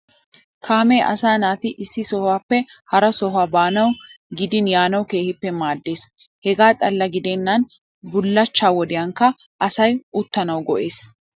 Kaamee asaa naati issi sohuwappe hara sohuwa baanawu gidin yaanawu keehippe maaddees. Hegaa xalla gidennan bullachchaa wodiyankka asay uttanawu go'ees.